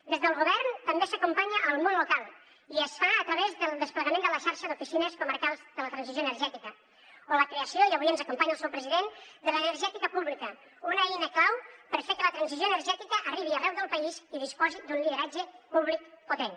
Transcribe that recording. des del govern també s’acompanya el món local i es fa a través del desplegament de la xarxa d’oficines comarcals de transició energètica o la creació i avui ens acompanya el seu president de l’energètica pública una eina clau per fer que la transició energètica arribi arreu del país i disposi d’un lideratge públic potent